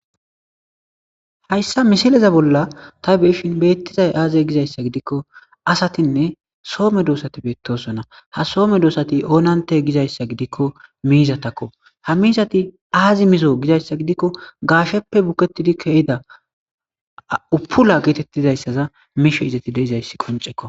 hayssa misileza bolla ta beyshin beettizay aaze gizayssa gidikko asatinne soome doosati beettosona ha soome doosati oonante gizayssa gidikko miizatakko ha miizati aazi mizo gizayssa gidikko gaasheppe buketidi kehida upula geetettizayssaza mishe izati deizayssi qoncekko